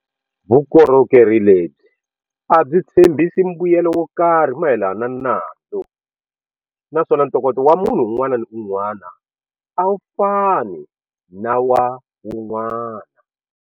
Vukorhokeri lebyi a byi tshembhisi mbuyelo wo karhi mayelana na nandzu naswona ntokoto wa munhu un'wana na un'wana a wu fani na wa wun'wana.